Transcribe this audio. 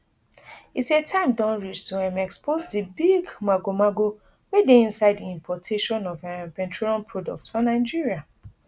e say time don reach to um expose di big magomago wey dey inside di importation of um petroleum products for nigeria